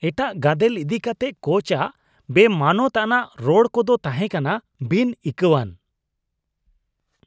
ᱮᱴᱟᱜ ᱜᱟᱫᱮᱞ ᱤᱫᱤ ᱠᱟᱛᱮ ᱠᱳᱪ ᱟᱜ ᱵᱮᱢᱟᱱᱚᱛ ᱟᱱᱟᱜ ᱨᱚᱲ ᱠᱚᱫᱚ ᱛᱟᱦᱮᱸ ᱠᱟᱱᱟ ᱵᱤᱱᱼᱤᱠᱟᱹᱣᱟᱱ ᱾